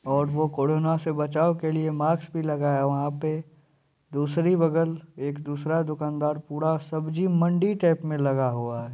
और वो कोरोना से बचाव के लिए मास्क भी लगाया हुआ है वहाँ पे। दूसरी बगल एक दूसरा दूकानदार पूरा सब्ज़ी मंडी टाइप में लगा हुआ है।